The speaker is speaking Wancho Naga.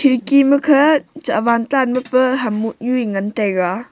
khidki makhe chawan tan ma pa ham mohnu ee ngantaiga.